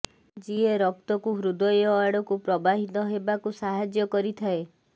ଯିଏ ରକ୍ତକୁ ହୃଦୟ ଆଡକୁ ପ୍ରବାହିତ ହେବାକୁ ସାହାଯ୍ୟ କରିଥାଏ